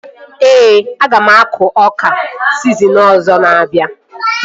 Ee, aga m akọ ọka sizin ọzọ na-abịa